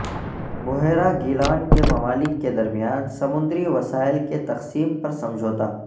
بحیرہ گیلان کے ممالک کے درمیان سمندری وسائل کی تقسیم پر سمجھوتہ